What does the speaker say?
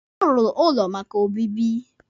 A rụrụ ụlọ maka obibi.